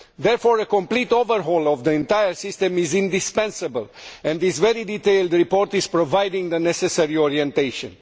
Therefore, a complete overhaul of the entire system is indispensable, and this very detailed report provides the necessary orientation.